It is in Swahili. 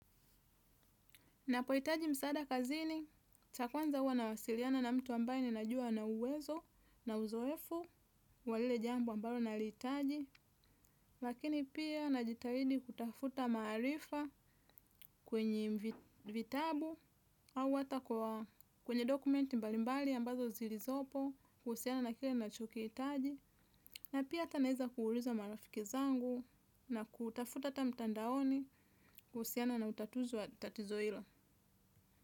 Ninapohitaji msaada kazini, cha kwanza huwa nawasiliana na mtu ambaye ninajua anauwezo na uzoefu, wa lile jambo ambayo nalihitaji, lakini pia najitahidi kutafuta maarifa kwenye vitabu au hata kwenye document mbalimbali ambazo zilizopo kuhusiana na kile nachokihitaji, na pia hata naweza kuuliza marafiki zangu na kutafuta hata mtandaoni kuhusiana na utatuzi wa tatizo hilo.